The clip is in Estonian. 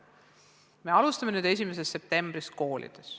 Me alustame sellise meetodiga koolides nüüd 1. septembrist.